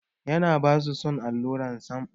Yarana ba su son allura sam.